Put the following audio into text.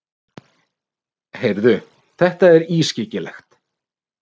Heyrðu, þetta er ískyggilegt.